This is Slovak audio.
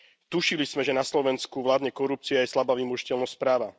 Tušili sme, že na Slovensku vládne korupcia aj slabá vymožiteľnosť práva.